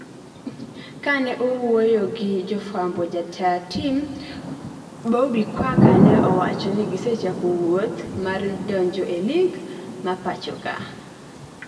kane owuoyogi jofwambo jataa tim Bobby Kwaka ne owacho ni gisechako wuoth mar donjoelig ma pachoka